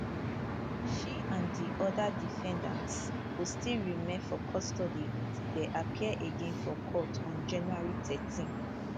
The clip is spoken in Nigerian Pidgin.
she and di oda defendants go still remain for custody until dem appear again for court on january 13